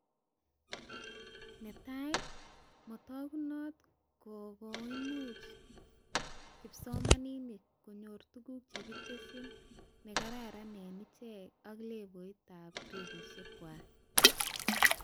Netai, matagunot koimuch kipsomanink konyor tuguk chekitesyi nekararan eng icheket ak levoitab gradishek kway